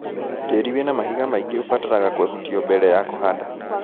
Tĩri wina mahiga maingĩ ũbataraga kũehutio mbere ya kũhanda.